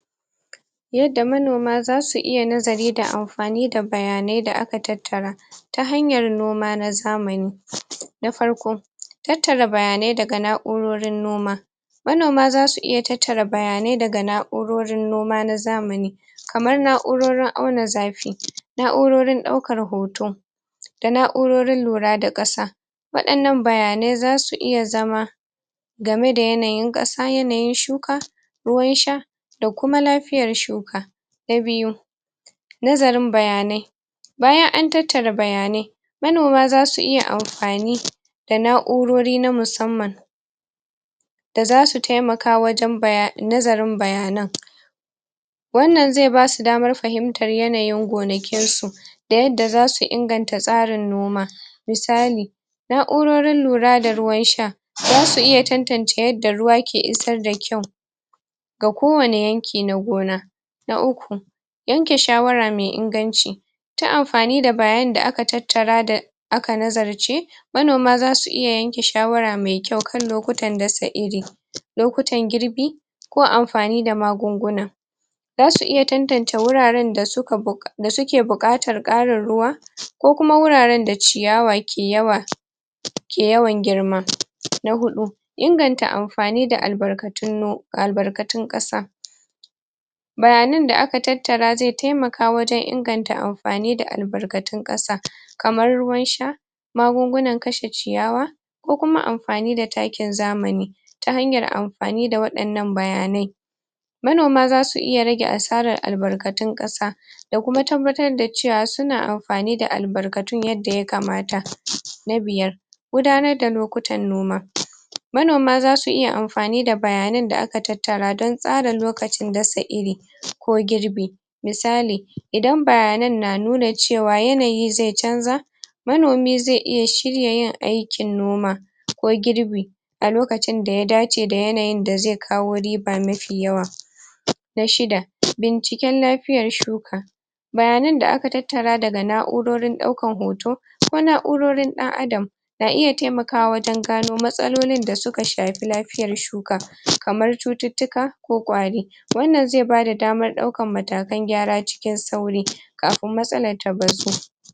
Yanda manoma zasu iya nazari da am fani da bayanai da aka tattara ta hanyar noma na zamani na farko; tattara bayanai daga na'urorin noma manoma zasu iya tattara bayanai daga na'urorin noma na zamani kamar na'urorin auna zafi na'urorin ɗaukar hoto na'urorin lura da ƙasa waɗannan bayanai zasu iya zama game da yanayin ƙasa yanayin shuka ruwan sha da kuma lafiyar shuka na biyu; nazarin bayanai bayan an tattara bayanai manoma zasu iya amfani da na'urori na musamman da zasu taimaka wajen baya.. nazarin bayanan wannan zai basu damar fahimtar yanayin gonakin su da yadda zasu inganta tsarin noma misali na'urorin lura da ruwan sha zasu iya tantance yanda ruwa yake isar da kyau ga kowane yanki na gona na uku; yanke shawara mai inganci ta amfani da bayani da aka tattara da aka nazarce manoma zasu iya yanke shawara mai kyau kan lokutan dasa iri lokutan girbi ko amfani da magunguna zasu iya tantance wuraren da suka buƙa da suke buƙatar ƙarin ruwa ko kuma wuraren da ciyawa ke yawa ke yawan girma na huɗu; inganta amfani da albarkatun no.. albarkatun ƙasa bayanan da aka tattara zai taimaka wajen inganta am.. fani da albarkatun ƙasa kamar ruwan sha magungunan kashe ciyawa ko kuma amfani da takin zamani ta hanyar amfani waɗannan bayanai manoma zasu iya rage asarar albarkatun ƙasa da kuma tabbatar da cewa suna am.. amfani da albarkatun yanda ya kamata na biyar; gudanar da lokutan noma manoma zasu iya amfani da bayanan da aka tattara don tsara lokacin dasa iri ko girbi misali idan bayanan na nuna cewa yanayi zai canza manomi zai iya shirya yin aikin noma ko girbi a lokacin da ya dace da yanayin da zai kawo riba mafi yawa na shida; binciken lafiyan shuka bayanan da aka tattara daga na'urorin ɗaukan hoto ko na'urorin ɗan adam na iya taimakawa wajen gano matsalolin da suka shafi lafiyar shuka kamar cututtuka ko ƙwari wannan zai bada damar ɗaukar matakan gyara cikin sauri kafin matsalar ta bazu